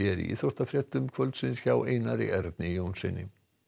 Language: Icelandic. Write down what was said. í íþróttafréttum kvöldsins hjá Einar Erni Jónssyni